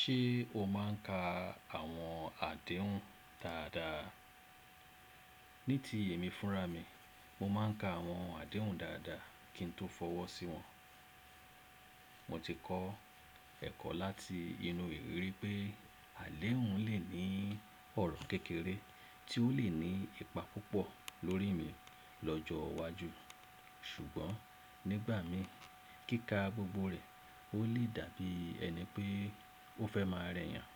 Ṣé o máa ń ka àwọn àdéhùn dáadáa? Ní ti èmi fúnra mi, mo máa ń ka àwọn àdéhùn dáadáa kí n tó fọwọ́ sí wọn. Mo ti kọ́ ẹ̀kọ́ láti inú iriri pé àdéhùn lè ní ọ̀rọ̀ kékeré tí ó lè ní ipa púpọ̀ lórí mi lọ́jọ́ wájú. Ṣùgbọ́n nígbà mi kíka gbogbo rẹ̀, ó lè dàbí ẹni pé ó fẹ́ máa rẹ́yàn.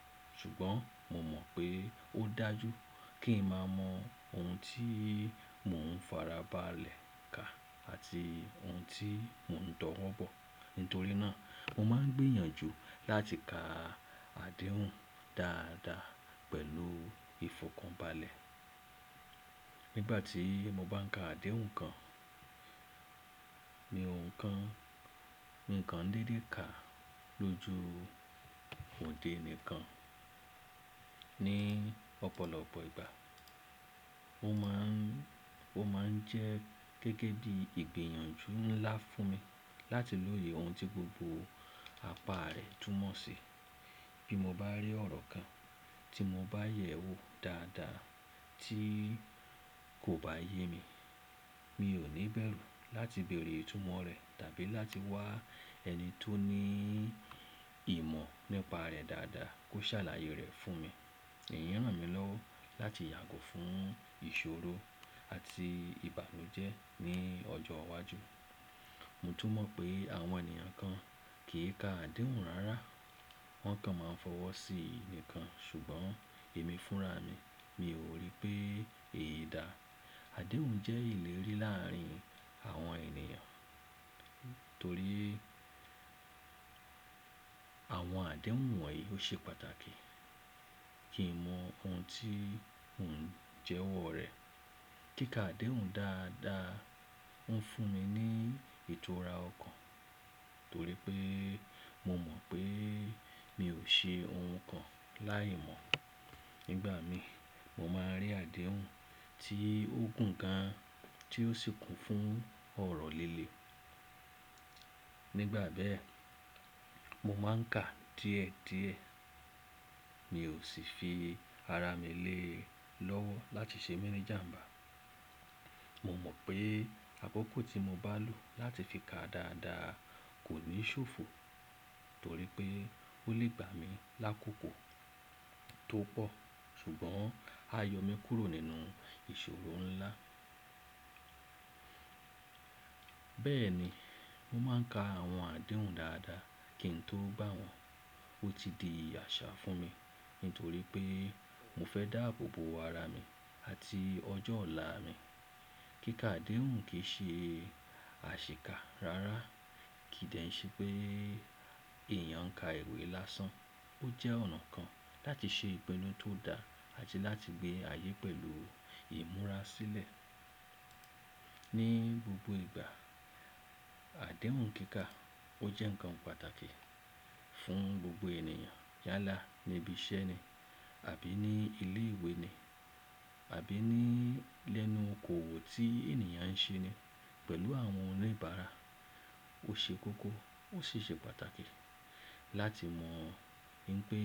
Ṣùgbọ́n mo mọ̀ pé ó dájú kí n má mọ ohun tí mò ń farabalẹ̀ ka àti ohun tí mò ń tọ́wọ́ bọ̀. Nítorí náà, mo máa ń gbìyànjú láti ka àdéhùn dáadáa pẹ̀lú ìfọ̀kànbalẹ̀. Nígbà tí mo bá ń ka àdéhùn kan, ni ohun kan, ǹkan dédé ka lójú òde mi kan. Ni ọ̀pọ̀lọpọ̀ ìgbà, ó má ń jẹ́ gẹ́gẹ́ bí ìgbìyànjú ńlá fún mi láti lòyè ohun tí gbogbo apá rẹ̀ túmọ̀ sí. Bí mo bá rí ọ̀rọ̀ kan tí mo bá yẹ̀ ẹ́ wò dáadáa tí kò bá yé mi, mi ò ní bẹ̀rù láti bèèrè ìtumọ̀ rẹ̀ tàbí láti wá ẹni tó ní ìmọ̀ nípa rẹ̀ dáadáa kó ṣàlàyé rẹ̀ fún mi. Ìyẹn ràn mí lọ́wọ́ láti yàgò fún ìṣòro àti ìbànújẹ́ ní ọjọ́ wájú. Mo tún mọ̀ pé àwọn ènìyàn kan kì í ka àdéhùn rárá. Wọ́n kan máa ń fọwọ́ sí ì nìkan. Ṣùgbọ́n èmi fúnra mi, mi ò rí pé èyi dá. Àdéhùn jẹ́ ìlérí láàárín àwọn ènìyàn. Torí àwọn àdéhùn wọ̀nyí ó ṣe pàtàkì. Kí n mọ ohun tí mo n jẹ́wọ́ rẹ̀. Kíka àdéhùn dáadáa ouń fún mi ní ìtura ọkàn torí pé mo mọ̀ pé mi ò ṣe ohun kan láìmọ̀. Nígbà mi, mo máa rí àdéhùn tí ó gùn gan tí ó sì kún fún ọ̀rọ̀ líle. Nígbà bẹ́ẹ̀, mo máa ń kà díẹ̀díẹ̀. Mi ò sì fi ara mi lé lọ́wọ́ láti ṣe mi ni'jàmbá. Mo mọ̀ pé akọ́kọ́ tí mo bá lò láti fi ka dáadáa kò ní ṣòfò torí pé ó lè gbà mí lákòkò tó pọ̀ ṣùgbọ́n á yọ mí kúrò nínú ìṣòro ńlá. Bẹ́ẹ̀ ni, mo máa ń ka àwọn àdéhùn dáadáa kí n tó gbá wọn. Ó ti di àṣà fún mi nítorí pé mo fẹ́ dáàbò bo ara mi àti ọjọ́ ọ̀la mi. Kíka àdéhùn kì í ṣe àṣìká rárá. Kì í de ṣe pé èèyàn ń ka ìwé lásán. Ó jẹ́ ọ̀nà kan láti ṣe ìpinnu tó dá àti láti gbé ayé pẹ̀lú ìmúra sílẹ̀. Ní gbogbo ìgbà, àdéhùn kíka ó jẹ́ ǹkan pàtàkì fún gbogbo ènìyàn. Yálà níbi iṣẹ́ ni àbí ní ilé ìwé ni àbí ní lẹ́nu okòòwò tí ènìyàn ń ṣe ni pẹ̀lú àwọn oníbàárà. Ó ṣe kókó ó sì ṣe pàtàkì láti mọ̀ wipé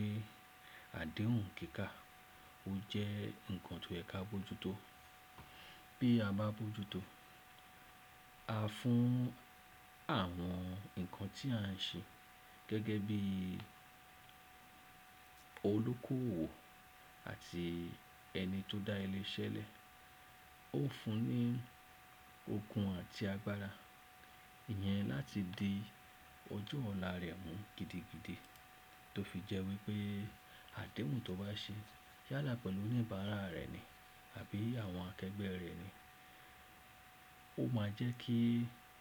àdéhùn kíka ó jẹ́ ǹkan tó yẹ ká bojútó. Bí a bá bojútó, a fún àwọn ǹkan tí à ń ṣe gẹ́gẹ́ bí olókòwò àti ẹni tó dá ilé iṣẹ́ lẹ̀. Ó fún ní okun àti agbára ìyẹn láti di ọjọ́ ọ̀la rẹ̀ mú gidigidi. Tó fi jẹ́ wípé àdéhùn tó bá ṣe yálà pẹ̀lú oníbàárà rẹ̀ ni àbí àwọn akẹgbẹ́ rẹ̀ ni, ó máa jẹ́ kí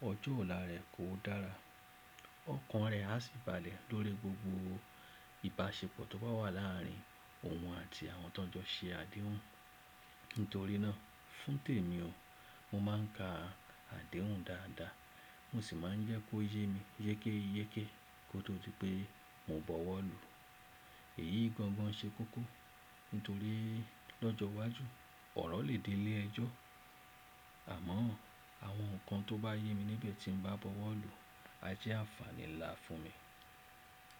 ọjọ́ ọ̀la rẹ̀ kó dára. Ọkàn rẹ̀ a sì bàlẹ̀ lórí gbogbo ìbáṣepọ̀ tó bá wà láàárín òun àti àwọn tó jọ ṣe àdéhùn. Nítorí náà, fún tèmi o, mo máa ń ka àdéhùn dáadáa mo sì máa ń jẹ́ kó yé mi yékéyéké kó tó di pé mò bọwọ́ lù. Èyí gangan ṣe kókó nítorí lọ́jọ́ wájú ọ̀rọ̀ lè di ilé ẹjọ́. Àmọ́ àwọn ǹkan tó bá yé mi nibe tí ń bá bọwọ́ lù a jẹ́ àǹfààní nlá fún mi.